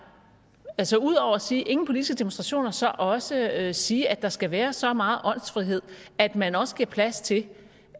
altså ud over at sige ingen politiske demonstrationer så også at sige at der skal være så meget åndsfrihed at man også giver plads til